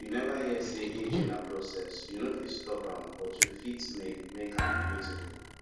you neva hear sey aging na process you no fit stop am but you fit make make am beautiful